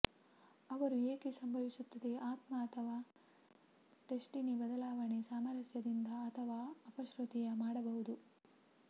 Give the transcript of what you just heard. ಅವರು ಏಕೆ ಸಂಭವಿಸುತ್ತದೆ ಆತ್ಮ ಅಥವಾ ಡೆಸ್ಟಿನಿ ಬದಲಾವಣೆ ಸಾಮರಸ್ಯದಿಂದ ಅಥವಾ ಅಪಶ್ರುತಿಯ ಮಾಡಬಹುದು